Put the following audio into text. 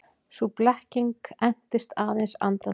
Sú blekking entist aðeins andartak.